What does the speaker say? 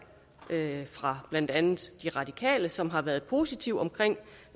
fra blandt andet de radikale som har været positive omkring